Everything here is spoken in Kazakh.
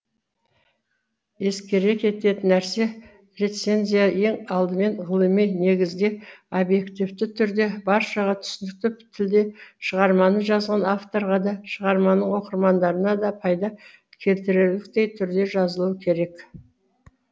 ескере кететін нәрсе рецензия ең алдымен ғылыми негізде обьективті түрде баршаға түсінікті тілде шығарманы жазған авторға да шығарманың оқырмандарына да пайда келтірерліктей түрде жазылуы керек